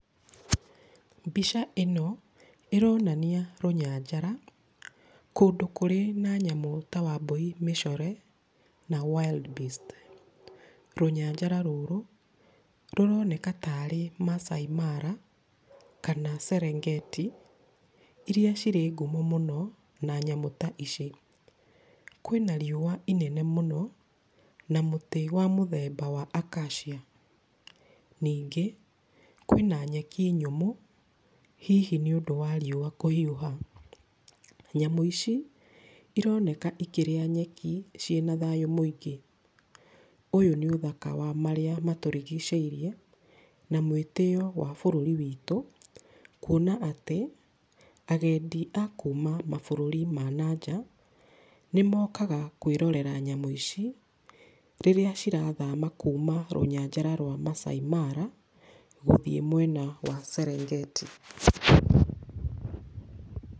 Mbica ĩno ĩronania rũnyanjara kũndũ kũrĩ na nyamũ ta wambũi mĩcore na wild beast. Rũnyanjara rũrũ rũroneka tarĩ Maasai Mara kana Serengeti, iria cirĩ ngumo mũno na nyamũ ta ici. Kwĩna riũwa inene mũno na mũtĩ wa mũthemba wa acacia. Ningĩ, kwĩna nyeki nyũmũ, hihi nĩũndũ wa riũwa kũhiũha. Nyamũ ici ironeka ikĩrĩa nyeki ciĩna thayũ mũingĩ. Ũyũ nĩ ũthaka wa marĩa matũrigicĩirie, na mwĩtĩyo wa bũrũri witũ kwona atĩ agendi a kuuma mabũrũri ma nanja nĩmokaga kwĩrorera nyamũ ici, rĩrĩa cirathama kuuma rũnyanjara rwa Maasai Mara gũthiĩ mwena wa Serengeti.